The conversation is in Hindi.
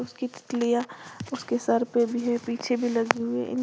उसकी तितलियां उसके सर पर भी है पीछे भी लगी हुई इनके--